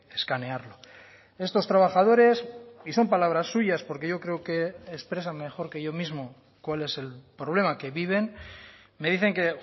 escanearlo estos trabajadores y son palabras suyas porque yo creo que expresan mejor que yo mismo cuál es el problema que viven me dicen que